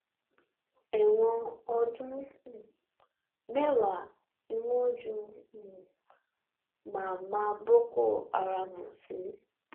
ẹ̀wọ̀n ọdún um mẹ́wàá ni wọ́n ju um mámá boko haram sí